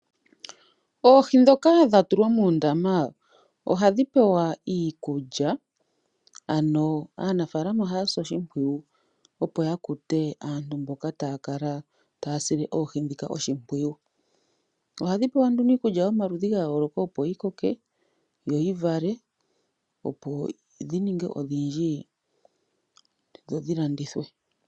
Oohi dhoka dhatulwa muundama ohadhi pewa iikulya ano aanafalama ohasi oshipwiyu opo yakute aantu mboka takala tasile oohi dhika oshipwiyu adhipewa nduno iikulya yomaludhi gayoloka opo dhikoke dho dhivale opo dhininge odhindji dho dhilandithwe.